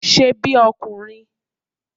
Ṣe bí ọkùnrin!